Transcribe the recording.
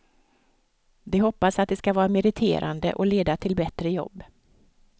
De hoppas att det skall vara meriterande och leda till bättre jobb.